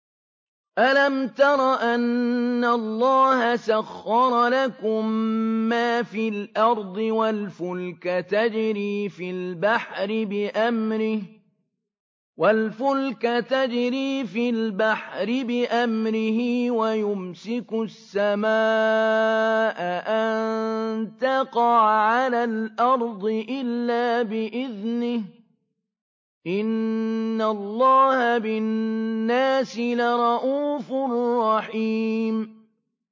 أَلَمْ تَرَ أَنَّ اللَّهَ سَخَّرَ لَكُم مَّا فِي الْأَرْضِ وَالْفُلْكَ تَجْرِي فِي الْبَحْرِ بِأَمْرِهِ وَيُمْسِكُ السَّمَاءَ أَن تَقَعَ عَلَى الْأَرْضِ إِلَّا بِإِذْنِهِ ۗ إِنَّ اللَّهَ بِالنَّاسِ لَرَءُوفٌ رَّحِيمٌ